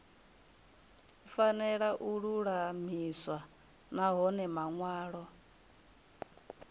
fanela u lulamiswa nahone manwalo